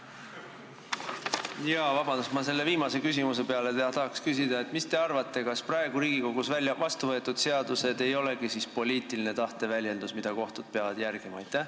Ma tahan selle viimase küsimuse peale küsida: mis te arvate, kas praegu Riigikogus vastuvõetud seadused ei olegi siis poliitilise tahte väljendus, mida kohtud peavad järgima?